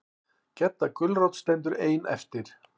Gedda gulrót stendur ein eftir.